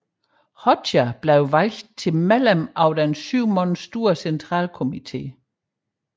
Hoxha blev valgt til medlem af den syv mand store centralkomiteen